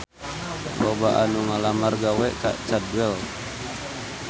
Loba anu ngalamar gawe ka Cadwell